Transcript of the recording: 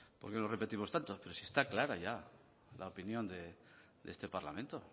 pero si está clara ya la opinión de este parlamento